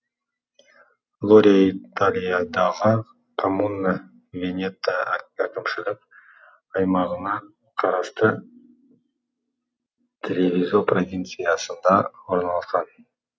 лория италиядағы коммуна венето әкімшілік аймағына қарасты тревизо провинциясында орналасқан